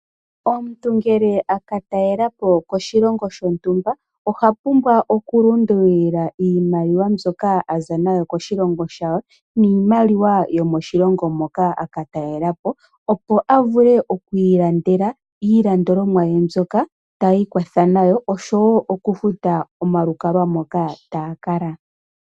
Omuntu ngele aka talelapo koshilongo shontumba . Oha pumbwa oku lundulila iimaliwa mbyoka aza nayo koshilongo shawo niimaliwa yomoshilongo hoka aka talelapo opo avule oku ilandela iilandomwa mbyoka ta ikwatha nayo. Osho woo oku futa omalukalwa moka takala.